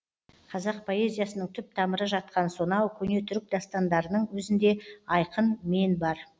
қазақ поэзиясының түп тамыры жатқан сонау көне түрік дастандарының өзінде айқын мен бар